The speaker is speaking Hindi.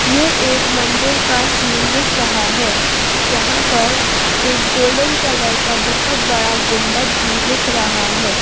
यह एक मंदिर का सीन दिख रहा है जहां पर एक गोल्डन कलर का बहुत बड़ा गुंबद भी दिख रहा है।